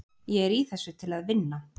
Ég er í þessu til að vinna.